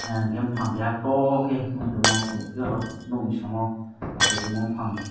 enke pang keha too ke nugui tongo chung nug fio oro nug ni samo achai tongma bufang.